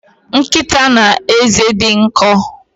Nkita na eze di nko